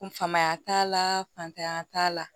Kunfamaya t'a la fantanya t'a la